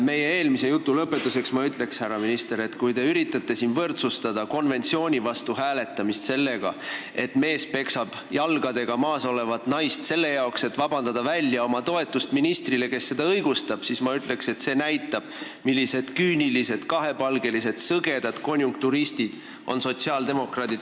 Meie eelmise jutu lõpetuseks ma ütlen, härra minister, et kui te üritate võrdsustada konventsiooni vastu hääletamist sellega, et mees peksab jalgadega maas olevat naist, selleks et vabandada välja oma toetust ministrile, kes seda õigustab, siis see näitab, millised küünilised, kahepalgelised ja sõgedad konjunkturistid on sotsiaaldemokraadid.